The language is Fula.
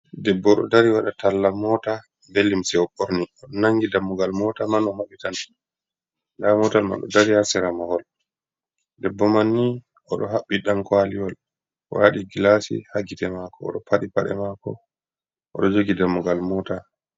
Debbo ɗo dari wada talla mota be limse, o borni oɗo nangi dammugal mota man o mabitan nda motal ma ɗo dari Har sera mahol, debbo man ni oɗo haɓɓi danko aliwol o wadi glasi ha gite mako oɗo paɗi paɗe mako oɗo jogi dammugal mota